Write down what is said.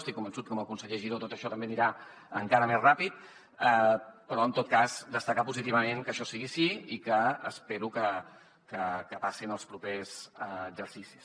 estic convençut que amb el conseller giró tot això també anirà encara més ràpid però en tot cas destacar positivament que això sigui així i que espero que passi en els propers exercicis